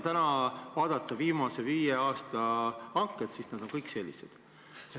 Viimase viie aasta hanked on kõik sellised.